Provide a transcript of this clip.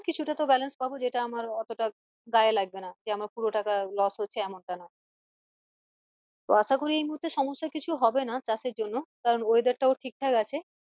কিছুটা তো balance পাবো যেটা আমার অতটা গায়ে লাগবে না যে আমার পুরো টাকা loss হচ্ছে এমন টা না আশা করি এই মুহূর্তে কিছু সমস্যা হবেনা চাষ এর জন্য কারণ weather টাও ঠিক ঠাক আছে